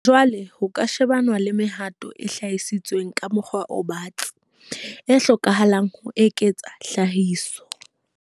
Jwale ho ka shebanwa le mehato e hlalositsweng ka mokgwa o batsi, e hlokahalang ho eketsa tlhahiso.